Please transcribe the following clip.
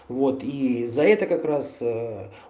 вот и за это как раз